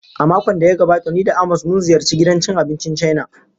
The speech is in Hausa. A makon da ya gabata ni da Amos mun ziyarci gidan cin abincin Chaina.